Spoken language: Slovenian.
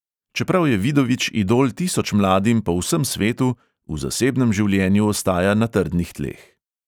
Čeprav je vidovič idol tisoč mladim po vsem svetu, v zasebnem življenju ostaja na trdnih tleh.